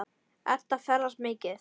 Edda ferðast mikið.